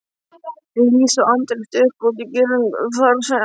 Lísa og Andri stukku út í girðingu þar sem